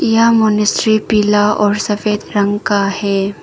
यह मॉनेस्ट्री पीला और सफेद रंग का है।